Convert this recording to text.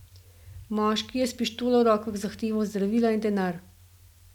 Moški je s pištolo v rokah zahteval zdravila in denar.